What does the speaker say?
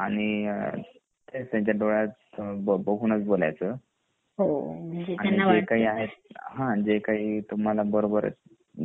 आणि काय त्यांचा डोळ्यात बघूनच बोलायचं जे काही आहे ह् जे आखी आहे तुम्हाला बरोबर